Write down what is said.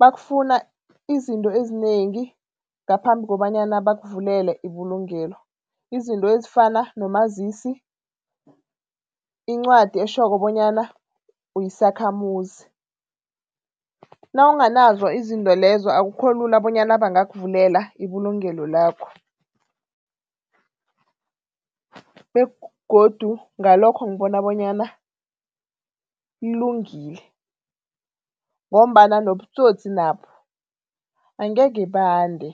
bakufuna izinto ezinengi ngaphambi kobanyana bakuvulele ibulungelo, izinto ezifana nomazisi, incwadi etjhoko bonyana uyisakhamuzi. Nawunganazo izinto lezo, akukho lula bonyana bangakuvulela ibulungelo lakho begodu ngalokho, ngibona bonyana kulungile ngombana nobutsotsi nabo angeke bande.